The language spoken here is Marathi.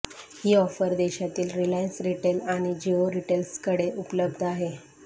ही ऑफर देशातील रिलायन्स रिटेल आणि जिओ रिटेलर्सकडे उपलब्ध आहे